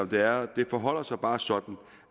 det er det forholder sig bare sådan